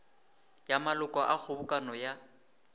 ya maloko a kgobokano ya